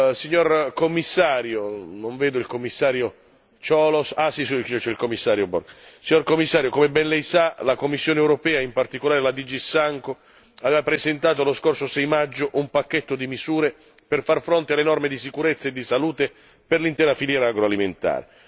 Signor Commissario non vedo il Commissario Cioloş, c'è il Commissario Borg come ben lei sa, la Commissione europea e in particolare la DG SANCO aveva presentato lo scorso 6 maggio un pacchetto di misure per far fronte alle norme di sicurezza e di salute per l'intera filiera agroalimentare.